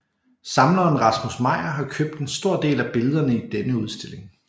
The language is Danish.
Samleren Rasmus Meyer har købt en stor del af billederne i denne udstilling